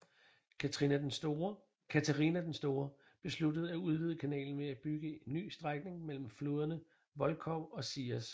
Katharina den Store besluttede at udvide kanalen ved at bygge en ny strækning mellem floderne Volkhov og Sias